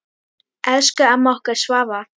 Elsku amma okkar Svava.